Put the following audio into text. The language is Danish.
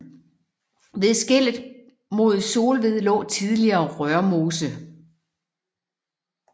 Ved skellet mod Solved lå tidligere Rørmose